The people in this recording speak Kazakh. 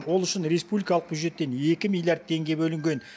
ол үшін республикалық бюджеттен екі миллиард теңге бөлінген